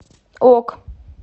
ок